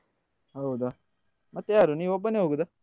ಹೌದಾ ಮತ್ತೆ ಯಾರು ನೀನು ಒಬ್ಬನೇ ಹೋಗುದಾ?